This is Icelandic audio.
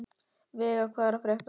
Veiga, hvað er að frétta?